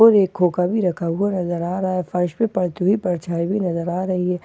और एक खोखा भी रखा हुआ नजर आ रहा है फर्श पे परती हुई परछाई भी नजर आ रही है और--